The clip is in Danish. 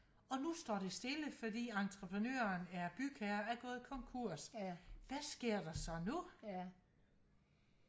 og nu står det stille fordi entreprenøren eller bygherren er gået konkurs hvad sker der så nu